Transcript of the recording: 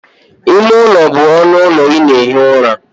Ime ụlọ bụ ọnụ ụlọ ị na-ehi ụra.